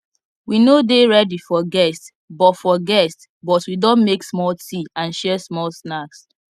we no dey ready for guests but for guests but we don make small tea and share small snacks